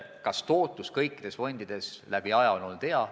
Kas tootlus on kõikides fondides läbi ajaloo hea olnud?